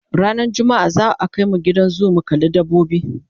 ranar jumma'a za'a Kai mu Gidan zoo mu kalla dabbobi